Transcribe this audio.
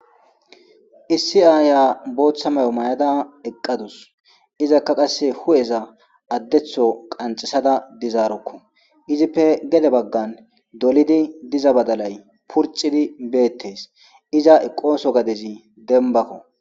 Issi aaya bootha mayo mayada eqqadus; izakka qasse hu'eza addetho qanxisada dizaroko; izippe gede bagaan dolidi diza badalay purcidi beetees; iza eqqoso gadezi dembako.